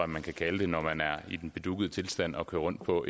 man kan kalde det når man er i en bedugget tilstand og kører rundt på